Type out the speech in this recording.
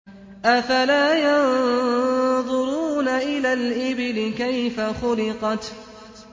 أَفَلَا يَنظُرُونَ إِلَى الْإِبِلِ كَيْفَ خُلِقَتْ